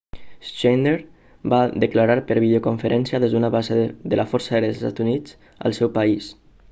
schneider va declarar per videoconferència des d'una base de la força aèria dels estats units al seu país